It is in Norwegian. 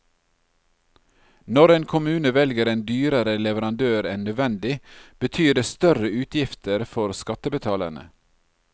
Når en kommune velger en dyrere leverandør enn nødvendig, betyr det større utgifter for skattebetalerne.